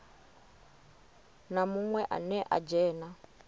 na munwe ane a dzhena